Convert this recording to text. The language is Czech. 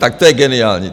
Tak to je geniální.